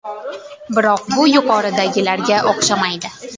Biroq bu yuqoridagilarga o‘xshamaydi.